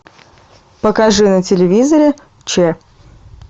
покажи на телевизоре че